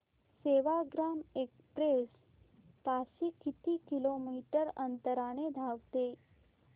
Sevagram express ताशी किती kilometre अंतराने धावते